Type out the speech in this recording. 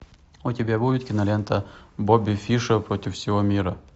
у тебя будет кинолента бобби фишер против всего мира